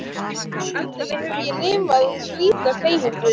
Aldrei hefi ég lifað slíka hreyfingu.